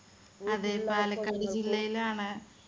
പാലക്കാട് ജില്ലയിലാണ്